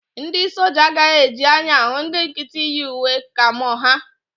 Ndị soja agaghị eji anya ahụ ndị nkịtị yi uwe kamo ha